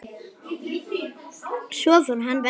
Svo fór hann vestur.